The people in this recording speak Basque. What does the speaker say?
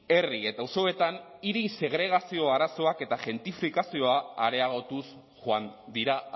herri eta auzoetan hiri segregazio arazoak eta gentrifikazioa areagotuz joan dira